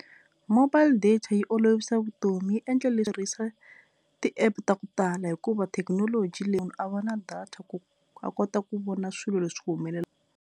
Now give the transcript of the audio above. Mobile data yi olovisa vutomi yi endla tirhisa ti-app ta ku tala hikuva thekinoloji leyi a va na data ku a kota ku vona swilo leswi ku .